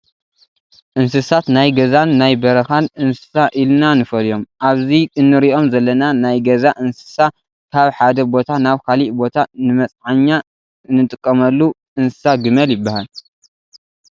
እንስሳት ናይ ገዛን ናይ በረካን እንስሳ ኢለና ንፈልዮም፣ ኣብዚ እንሪኦም ዘለና ናይ ገዛ እንሳሳ ካብ ሓደ ቦታ ናብ ካሊእ ቦታ ንመፅዓኛ እንጥቀመሉ እንስሳ ግመል ይበሃል።